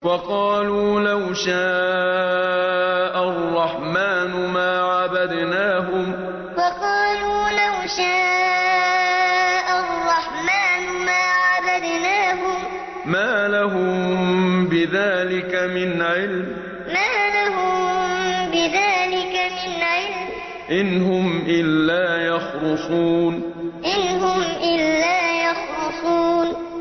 وَقَالُوا لَوْ شَاءَ الرَّحْمَٰنُ مَا عَبَدْنَاهُم ۗ مَّا لَهُم بِذَٰلِكَ مِنْ عِلْمٍ ۖ إِنْ هُمْ إِلَّا يَخْرُصُونَ وَقَالُوا لَوْ شَاءَ الرَّحْمَٰنُ مَا عَبَدْنَاهُم ۗ مَّا لَهُم بِذَٰلِكَ مِنْ عِلْمٍ ۖ إِنْ هُمْ إِلَّا يَخْرُصُونَ